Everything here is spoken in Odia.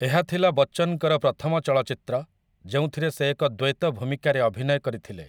ଏହା ଥିଲା ବଚ୍ଚନଙ୍କର ପ୍ରଥମ ଚଳଚ୍ଚିତ୍ର ଯେଉଁଥିରେ ସେ ଏକ ଦ୍ୱୈତ ଭୂମିକାରେ ଅଭିନୟ କରିଥିଲେ ।